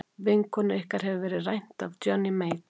Vinkonu ykkar hefur verið rænt af Johnny Mate.